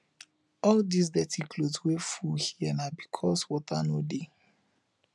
all dis dirty cloth wey full here na because water no dey